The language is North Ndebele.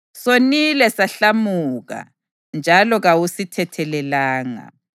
“Sonile sahlamuka, njalo kawusithethelelanga.